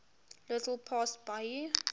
little past bahia